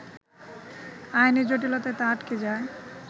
আইনি জটিলতায় তা আটকে যায়